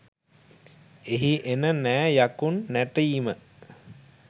එහි එන නෑ යකුන් නැටීම